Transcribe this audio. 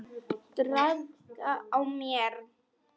Traðka á mér!